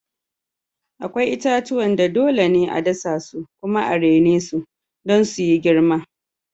Akwai itatuwan da dole ne a dasa su kuma a rene su don su yi girma.